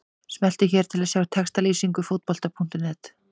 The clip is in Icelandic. Smelltu hér til að sjá textalýsingu Fótbolta.net.